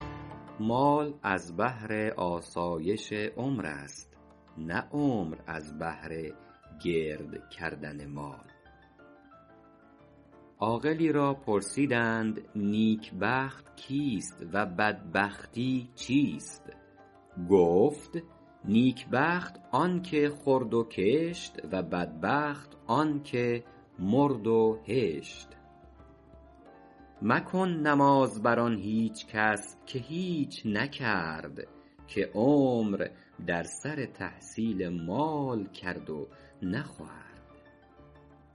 مال از بهر آسایش عمر است نه عمر از بهر گرد کردن مال عاقلی را پرسیدند نیک بخت کیست و بدبختی چیست گفت نیک بخت آن که خورد و کشت و بدبخت آن که مرد و هشت مکن نماز بر آن هیچ کس که هیچ نکرد که عمر در سر تحصیل مال کرد و نخورد